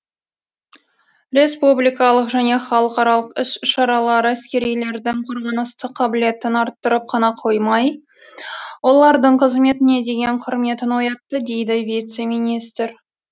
республикалық және халықаралық іс шаралар әскерилердің қорғаныстық қабілетін арттырып қана қоймай олардың қызметіне деген құрметін оятты дейді вице министр